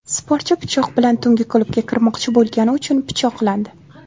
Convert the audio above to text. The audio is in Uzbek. Sportchi pichoq bilan tungi klubga kirmoqchi bo‘lgani uchun pichoqlandi.